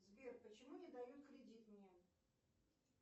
сбер почему не дают кредит мне